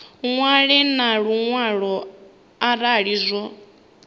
ṅwale na luṅwalo arali zwo